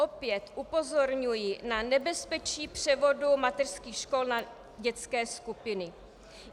Opět upozorňuji na nebezpečí převodu mateřských škol na dětské skupiny.